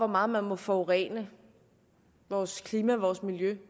meget man må forurene vores klima og vores miljø